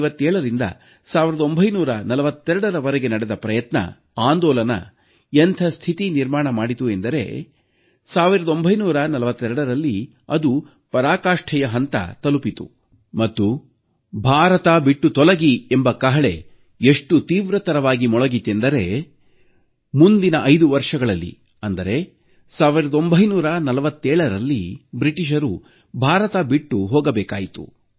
1857ರಿಂದ 1942ರ ವರೆಗೆ ನಡೆದ ಪ್ರಯತ್ನ ಆಂದೋಲನ ಎಂಥ ಸ್ಥಿತಿ ನಿರ್ಮಾಣ ಮಾಡಿತೆಂದರೆ 1942ರಲ್ಲಿ ಅದು ಪರಾಕಾಷ್ಟೆಯ ಹಂತ ತಲುಪಿತು ಮತ್ತು ಭಾರತ ಬಿಟ್ಟು ತೊಲಗಿ ಎಂಬ ಕಹಳೆ ಎಷ್ಟು ತೀವ್ರತರವಾಗಿ ಮೊಳಗಿತೆಂದರೆ ಮುಂದಿನ 5 ವರ್ಷಗಳಲ್ಲಿ ಅಂದರೆ 1947ರಲ್ಲಿ ಬ್ರಿಟಿಷರು ಭಾರತ ಬಿಟ್ಟು ಹೋಗಬೇಕಾಯಿತು